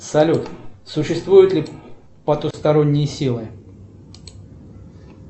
салют существуют ли потусторонние силы